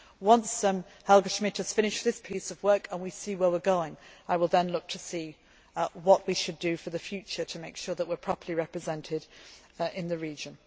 Once Helga Schmid has finished this piece of work and we see where we going, I will then look to see what we should do for the future to make sure that we are properly represented in